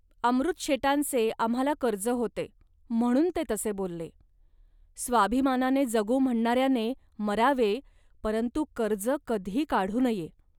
अमृतशेटांचे आम्हांला कर्ज होते, म्हणून ते तसे बोलले. स्वाभिमानाने जगू म्हणणाऱ्याने मरावे, परंतु कर्ज कधी काढू नये